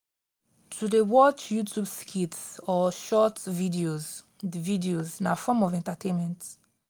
to de watch youtube skits or short videos videos na form of entertainment